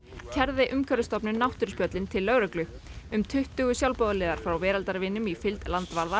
kærði Umhverfisstofnun náttúruspjöllin til lögreglu um tuttugu sjálfboðaliðar frá Veraldarvinum í fylgd landvarða